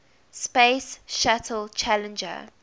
space shuttle challenger